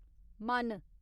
मन